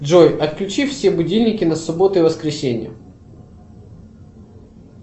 джой отключи все будильники на субботу и воскресенье